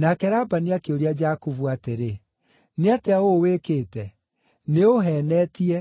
Nake Labani akĩũria Jakubu atĩrĩ, “Nĩ atĩa ũũ wĩkĩte? Nĩũũheenetie,